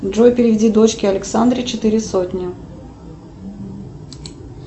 джой переведи дочке александре четыре сотни